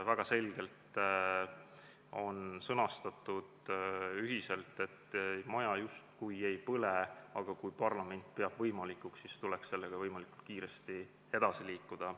Väga selgelt on ühiselt sõnastatud, et maja justkui ei põle, aga kui parlament peab võimalikuks, siis tuleks sellega võimalikult kiiresti edasi liikuda.